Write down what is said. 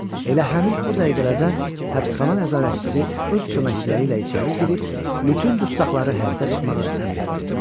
Elə həmin o dəqiqələrdə həbsxana nəzarətçisi öz köməkçiləri ilə içəri girib bütün dustaqları həyətə çıxmağı əmr etdi.